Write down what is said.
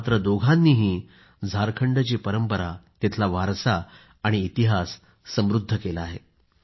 मात्र या दोघांनीही झारखंडची परंपरा तिथला वारसा आणि इतिहास समृद्ध केला आहे